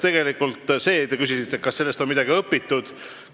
Te küsisite, kas sellest on midagi õpitud.